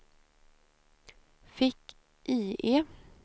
fick-IE